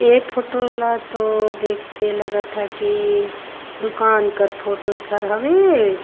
ए photo ल तो देख के लगत ह की दुकान कर फोटो छर हवे।